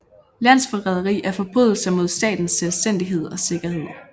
Landsforræderi er forbrydelser mod statens selvstændighed og sikkerhed